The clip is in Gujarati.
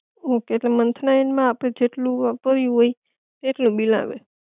ઓકે તો મંથ ના એન્ડ માં આપડે જેટલું વાપર્યુ હોય આટલું બિલ આવે